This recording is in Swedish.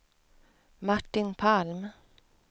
Martin Palm